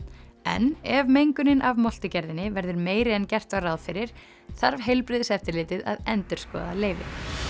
en ef mengunin af verður meiri en gert var ráð fyrir þarf heilbrigðiseftirlitið að endurskoða leyfið